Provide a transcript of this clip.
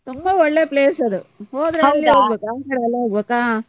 ತುಂಬಾ ಒಳ್ಳೆ place ಅದು, ಹೋದ್ರೆ ಅಲ್ಲಿ ಆ ಕಡೆ ಎಲ್ಲ ಹಾ.